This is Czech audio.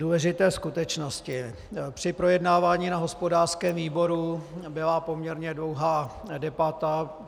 Důležité skutečnosti: Při projednávání na hospodářském výboru byla poměrně dlouhá debata.